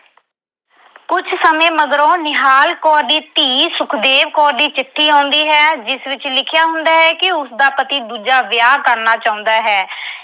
ਕੁਝ ਸਮੇਂ ਮਗਰੋਂ ਨਿਹਾਲ ਕੌਰ ਦੀ ਧੀ ਸੁਖਦੇਵ ਕੌਰ ਦੀ ਚਿੱਠੀ ਆਉਂਦੀ ਹੈ ਜਿਸ ਵਿੱਚ ਲਿਖਿਆ ਹੁੰਦਾ ਕਿ ਉਸਦਾ ਪਤੀ ਦੂਜਾ ਵਿਆਹ ਕਰਨਾ ਚਾਹੁੰਦਾ ਹੈ।